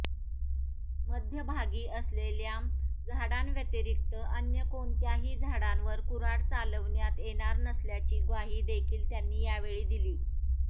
मध्यभागी असलेल्या झाडांव्यतिरिक्त अन्य कोणत्याही झाडांवर कुऱ्हाड चालवण्यात येणार नसल्याची ग्वाही देखील त्यांनी यावेळी दिली